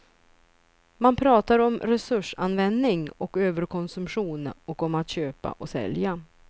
Man pratar om resursanvändning och överkonsumtion och om att köpa och sälja.